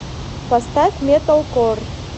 поставь металкор